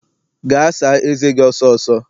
Gaa saa eze gi ọsọ ọsọ!